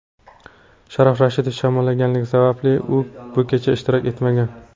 Sharof Rashidov shamollaganligi sababli bu kechada ishtirok etmagan.